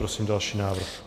Prosím další návrh.